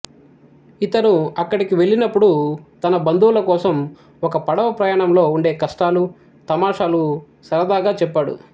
ఇతను అక్కడికి వెళ్ళినపుడు తన బంధువుల కోసం ఒక పడవ ప్రయాణంలో ఉండే కష్టాలు తమాషాలు సరదాగా చెప్పాడు